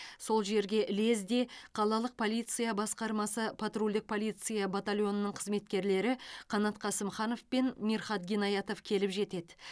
сол жерге лезде қалалық полиция басқармасы патрульдік полиция батальонының қызметкерлері қанат қасымханов пен мирхат гинаятов келіп жетеді